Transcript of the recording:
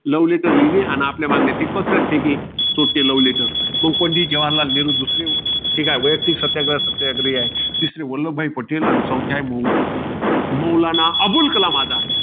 Love letter लिहिणे, अन आपल्या मागण्या पंडित जवाहरलाल नेहरू दुसरे होते. हे काय? वैयक्तिक सत्याग्रह सत्याग्रही आहे. तिसरे आहे, वल्लभभाई पटेल आणि चौथे आहे, मौ~ मौलाना अब्दुल कलाम आझाद.